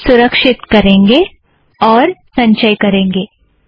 सुरक्षीत करेंगें और इसका संचय करेंगें